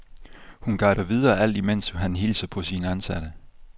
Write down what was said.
Han guider videre, alt imens han hilser på sine ansatte.